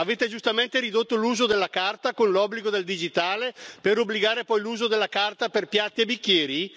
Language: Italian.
Avete giustamente ridotto l'uso della carta con l'obbligo del digitale, per obbligare poi all'uso della carta per piatti e bicchieri?